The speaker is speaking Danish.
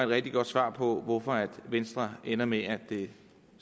rigtig godt svar på hvorfor venstre ender med at